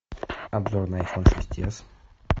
обзор на айфон шесть с